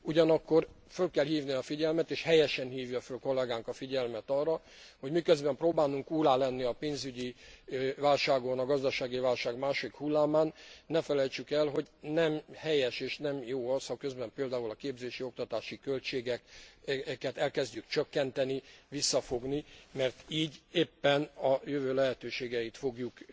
Ugyanakkor föl kell hívni a figyelmet, és helyesen hívja föl kollégánk a figyelmet arra, hogy miközben próbálunk úrrá lenni a pénzügyi válságon, a gazdasági válság második hullámán, ne felejtsük el, hogy nem helyes, és nem jó az, ha közben például a képzési, oktatási költségeket elkezdjük csökkenteni, visszafogni, mert így éppen a jövő lehetőségeit fogjuk